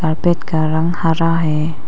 अर्पित carpet का रंग हरा है।